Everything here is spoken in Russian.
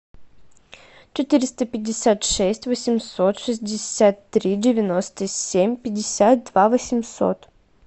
четыреста пятьдесят шесть восемьсот шестьдесят три девяносто семь пятьдесят два восемьсот